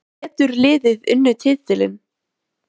Getur liðið unnið titilinn?